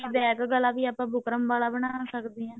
back ਗਲਾ ਵੀ ਆਪਾਂ ਬੁਕਰਮ ਵਾਲ ਅਬ੍ਨਾ ਸਕਦੇ ਹਾਂ